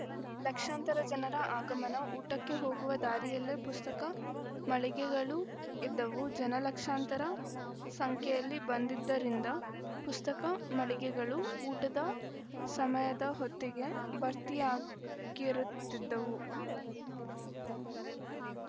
ಲಕ್ಷಾಂತರ ಜನರ ಆಗಮನ ಊಟಕ್ಕೆ ಹೋಗುವ ದಾರಿಯಲ್ಲೇ ಪುಸ್ತಕ ಮಳಿಗೆಗಳು ಇದ್ದುವು ಜನ ಲಕ್ಷಾಂತರ ಸಂಖ್ಯೆಯಲ್ಲಿ ಬಂದಿದ್ದರಿಂದ ಪುಸ್ತಕ ಮಳಿಗೆಗಳು ಊಟದ ಸಮಯದ ಹೊತ್ತಿಗೆ ಭರ್ತಿಯಾಗಿರುತ್ತಿದ್ದವು